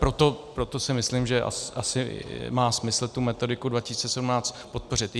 Proto si myslím, že asi má smysl tu Metodiku 2017 podpořit.